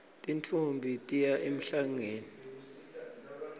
tintfombi tiya emhlangeni